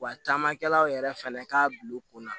Wa camankɛlaw yɛrɛ fɛnɛ k'a bil'u kunna